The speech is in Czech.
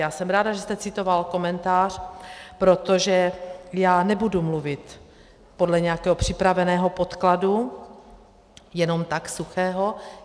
Já jsem ráda, že jste citoval komentář, protože já nebudu mluvit podle nějakého připraveného podkladu jenom tak suchého.